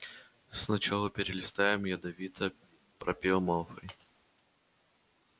сначала перелистаем ядовито пропел малфой